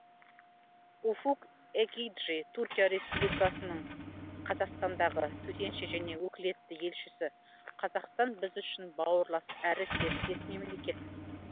уфук экиджи түркия республикасының қазақстандағы төтенше және өкілетті елшісі қазақстан біз үшін бауырлас әрі серіктес мемлекет